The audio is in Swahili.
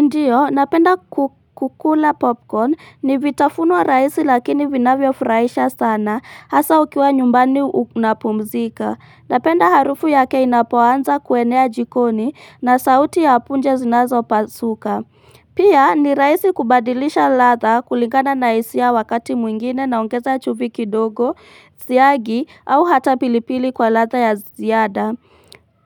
Ndiyo, napenda kukula popcorn ni vitafunwa raisi lakini vinavyo furahisha sana hasa ukiwa nyumbani unapumzika. Napenda harufu yake inapoanza kuenea jikoni na sauti ya punja zinazo pasuka. Pia ni rahisi kubadilisha ladha kulingana na hisia wakati mwingine naongeza chumvi kidogo, siagi au hata pilipili kwa ladha ya ziada.